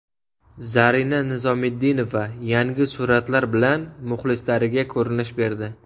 Zarina Nizomiddinova yangi suratlar bilan muxlislariga ko‘rinish berdi.